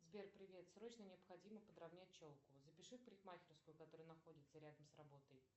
сбер привет срочно необходимо подравнять челку запиши в парикмахерскую которая находится рядом с работой